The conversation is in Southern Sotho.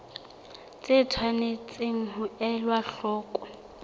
tse tshwanetseng ho elwa hloko